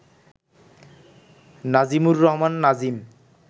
Nazimur Rahman Nazim